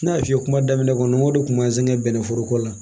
N y'a f'i ye kuma daminɛ kɔnɔ n ko dekun b'an sɛgɛn bɛnnɛ foroko la